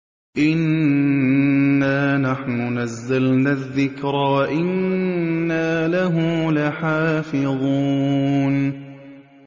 إِنَّا نَحْنُ نَزَّلْنَا الذِّكْرَ وَإِنَّا لَهُ لَحَافِظُونَ